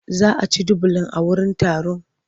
Za a ci dubulan a wurin taron?